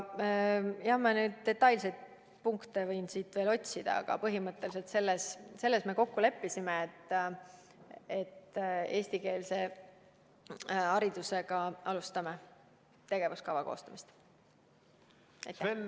Neid detailseid punkte ma võin siit veel otsida, aga selles me põhimõtteliselt leppisime kokku, et tegevuskava koostamisel alustame eestikeelse hariduse teemaga.